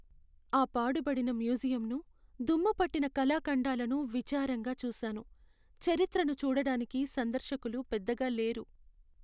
ఆ పాడుపడిన మ్యూజియంను, దుమ్ము పట్టిన కళాఖండాలను విచారంగా చూశాను. చరిత్రను చూడటానికి సందర్శకులు పెద్దగా లేరు.